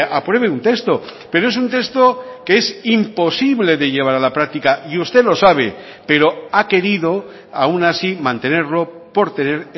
apruebe un texto pero es un texto que es imposible de llevar a la práctica y usted lo sabe pero ha querido aun así mantenerlo por tener